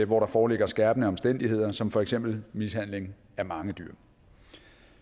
hvor der foreligger skærpende omstændigheder som for eksempel mishandling af mange dyr